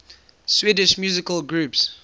swedish musical groups